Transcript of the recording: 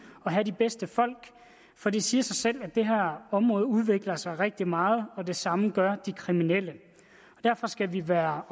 og have de bedste folk for det siger sig selv at det her område udvikler sig rigtig meget og det samme gør de kriminelle og derfor skal vi være